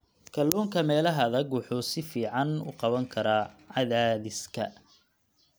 Kalluunka meelaha adag wuxuu si fiican u qaban karaa cadaadiska.